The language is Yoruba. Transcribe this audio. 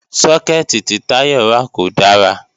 Sókẹ̀tì tí Táyọ̀ rà kò dára